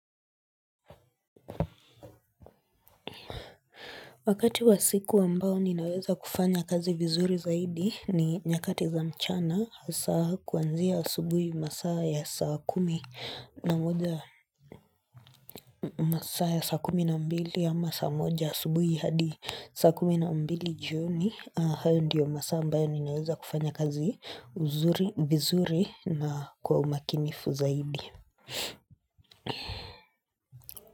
Wakati wa siku ambao ninaweza kufanya kazi vizuri zaidi ni nyakati za mchana hasa kuanzia asubuhi masaa ya saa kumi na moja. Saa ya saa kumi na mbili, ama saa moja asubuhi hadi saa kumi na mbili jioni, hayo ndiyo masaa ambayo ninaweza kufanya kazi vizuri na kwa umakinifu zaidi.